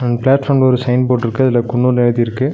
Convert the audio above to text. இந்த பிளாட்ஃபார்ம்ல சயின் ஃபோர்ட்ருக்கு அதுல குன்னூர்னு எழுதிருக்கு.